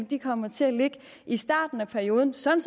de kommer til at ligge i starten af perioden sådan